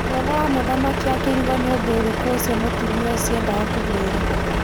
Mwana wa mũthamaki akĩrigwo nĩ ũndũ ũrĩkũ ũcio mũtumia ũcio endaga kũmwĩra.